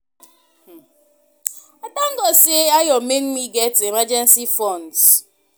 I thank God say Ayo make me get emergency fund